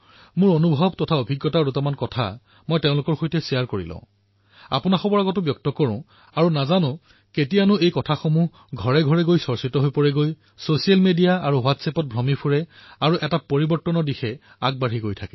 দুটা কথা মই নিজৰ অভিজ্ঞতাৰ সৈতে বিনিময় কৰিব বিচাৰিছো আপোনালোকৰ সন্মুখত ব্যক্ত কৰিব বিচাৰিছো আৰু কি ঠিক এই কথা কেতিয়া ঘূৰিপকি ঘৰপৰিয়াললৈ যাব ছচিয়েল মিডিয়া আৰু হোৱাটছ এপত ঘূৰিব আৰু এক পৰিৱৰ্তনৰ দিশলৈ আগবাঢ়িব